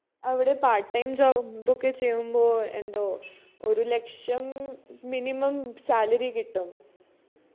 അവിടെ part time job ഒക്കെ ചെയ്യുമ്പോ എന്തോ ഒരു ലക്ഷം minimum salary കിട്ടും